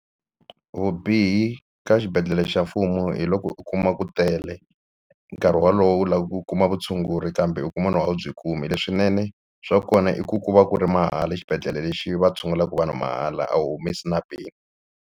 Vubihi ka xibedhlele xa mfumo hi loko u kuma ku tele nkarhi wolowo u lava ku kuma vutshunguri kambe u kuma lowu a wu byi kumi leswinene swa kona i ku ku va ku ri mahala xibedhlele lexi va tshungulaka vanhu mahala a wu humesi na peni.